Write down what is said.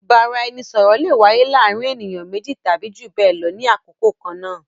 Ìbáraẹnisọ̀rọ̀ le wáyé láàárín ènìyàn méjì tàbí jù bẹẹ lọ ní àkókò kan náà